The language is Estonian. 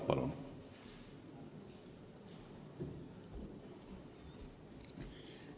Palun!